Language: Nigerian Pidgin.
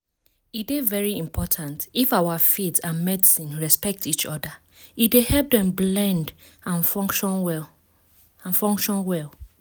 e dey very important if our faith and medicine respect each other e dey help dem blend and function well. and function well.